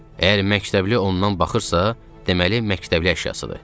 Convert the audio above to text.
Əgər məktəbli ondan baxırsa, deməli məktəbli əşyasıdır.